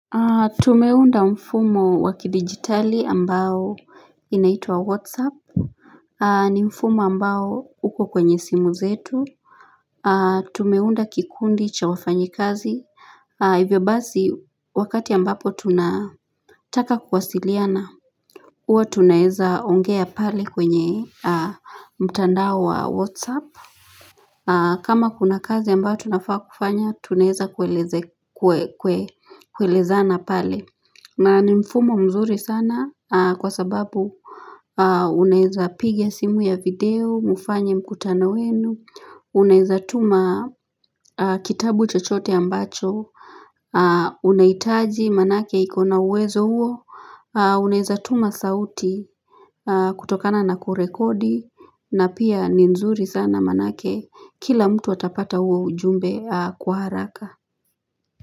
Tumeunda mfumo waki digitali ambao inaito wa whatsapp ni mfumo ambao uko kwenye simu zetu Tumeunda kikundi cha wafanyi kazi Hivyo bazi wakati ambapo tunataka kuwasiliana Uo tunaeza ongea pale kwenye mtandao wa whatsapp kama kuna kazi ambao tunafaa kufanya tunaeza kweleza na pale na ni mfumo mzuri sana kwa sababu uneza pigia simu ya video, mufanye mkutanoenu, uneza tuma kitabu chochote ambacho, uneitaji manake ikona uwezo uo, uneza tuma sauti kutokana na kurekodi, na pia ni mzuri sana manake kila mtu atapata uo ujumbe kwa haraka.